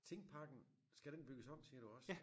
Tingparken skal den bygges om siger du også?